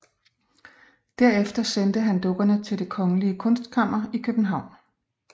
Derefter sendte han dukkerne til Det kongelige Kunstkammer i København